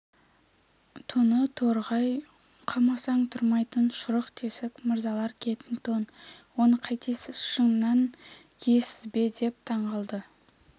тоны торғай қамасаң тұрмайтын шұрық тесік мырзалар киетін тон оны қайтесіз шыннан киесіз бе деп таңғалды